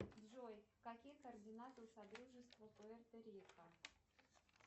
джой какие координаты у содружества пуэрто рико